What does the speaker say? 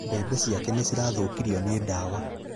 Mbebe ciake nĩ cirathũkirio nĩ dawa